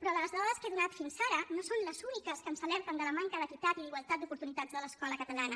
però les dades que he donat fins ara no són les úniques que ens alerten de la manca d’equitat i d’igualtat d’oportunitats de l’escola catalana